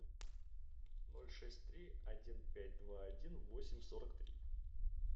ноль шесть три один пять два один восемь сорок три